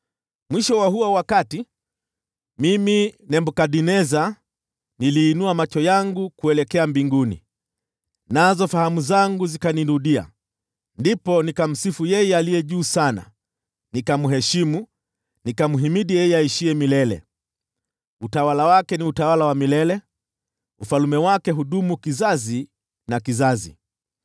Mwisho wa huo wakati, mimi Nebukadneza, niliinua macho yangu kuelekea mbinguni, nazo fahamu zangu zikanirudia. Ndipo nikamsifu Yeye Aliye Juu Sana, nikamheshimu na kumhimidi yeye aishiye milele. Utawala wake ni utawala wa milele; ufalme wake hudumu kutoka kizazi na kizazi.